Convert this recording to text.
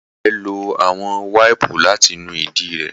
Mama rẹ lo awọn waipu lati nu idi re